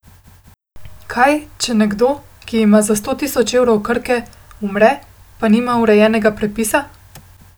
Kaj, če nekdo, ki ima za sto tisoč evrov Krke, umre, pa nima urejenega prepisa?